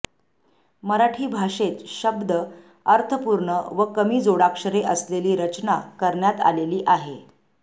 मराठी भाषेत शद्ब अर्थपूर्ण व कमी जोडाक्षरे असलेली रचना करण्यात आलेली आहे